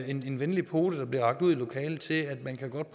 en venlig pote der bliver rakt ud i lokalet til at man godt